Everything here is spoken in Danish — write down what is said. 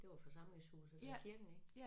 Det var forsamlingshuset ved kirken ik